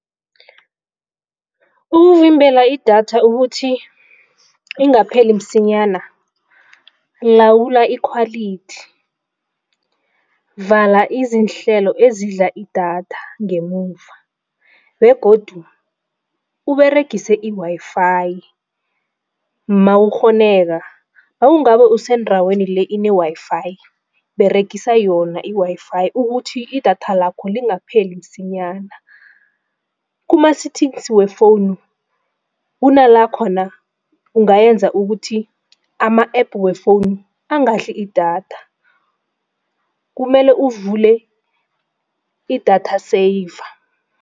Ukuvimbela idatha ukuthi ingapheli msinyana lawula ikhwalithi. Vala izinhlelo ezidla idatha ngemuva begodu uberegise i-Wi-Fi mawukghoneka. Nangabe usendaweni le ine-Wi-Fi beregise yona i-Wi-Fi ukuthi idatha lakho lingapheli msinyana. Kuma-settings we-phone kunala khona ungayenza ukuthi ama-App we- phone angadli idatha kumele uvule idatha saver.